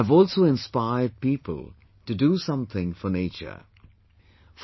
Kelansang, a sixyearold child in ChuraChandpur, Manipur, has also got a new lease of life from the Ayushman scheme